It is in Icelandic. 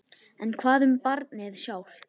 En hvað um barnið sjálft?